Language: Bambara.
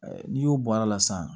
N'i y'o bɔr'a la sisan